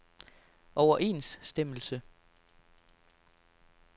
overensstemmelse